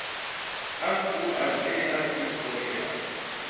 F O R B R U K E R